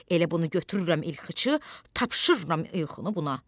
Elə bunu götürürəm ilxıçı, tapşırıram ilxını buna.